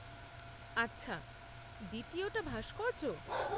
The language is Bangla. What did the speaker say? আচ্ছা, দ্বিতীয়টা ভাস্কর্য?